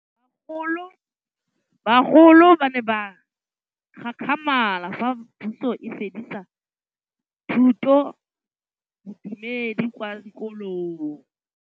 Bagolo ba ne ba gakgamala fa Pusô e fedisa thutô ya Bodumedi kwa dikolong.